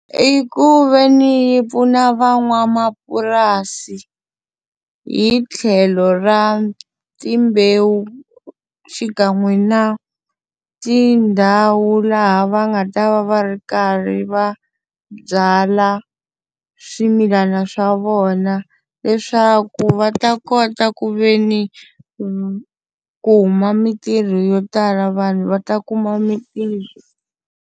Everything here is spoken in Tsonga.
I ku ve ni yi pfuna van'wamapurasi hi tlhelo ra timbewu xikan'we na tindhawu laha va nga ta va va ri karhi ri va byala swimilana swa vona, leswaku va ta kota ku ve ni ku huma mintirho yo tala vanhu va ta kuma mitirho.